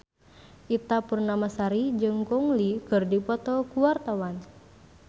Ita Purnamasari jeung Gong Li keur dipoto ku wartawan